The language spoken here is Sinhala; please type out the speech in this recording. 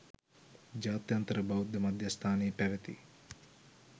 ජාත්‍යන්තර බෞද්ධ මධ්‍යස්ථානයේ පැවැති